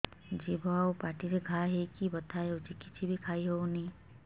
ଜିଭ ଆଉ ପାଟିରେ ଘା ହେଇକି ବଥା ହେଉଛି କିଛି ବି ଖାଇହଉନି